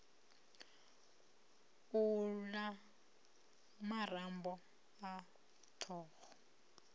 u la marambo a thoho